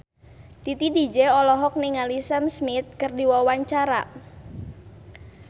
Titi DJ olohok ningali Sam Smith keur diwawancara